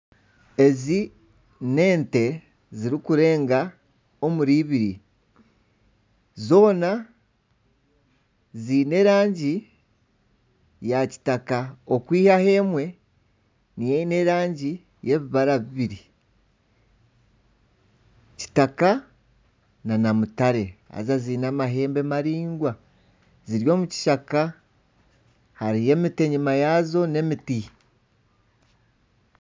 Ezi n'ente ziri kureenga omuri ibiri. Zoona ziine erangi ya kitaka okwihaho emwe niyo eine erangi y'ebibara bibiri, kitaka Nana mutare. Haza ziine amahembe maringwa, ziri omukishaka. Hariyo emiti enyima yazo n'emiti.